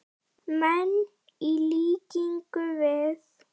menn, í líkingu við.